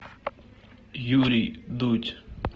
юрий дудь